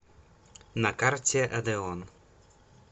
на карте одеон